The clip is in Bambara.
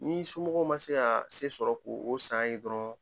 Ni somɔgɔw ma se ka se sɔrɔ k'o san ye dɔrɔn